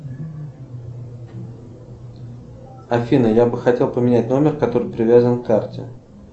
афина я бы хотел поменять номер который привязан к карте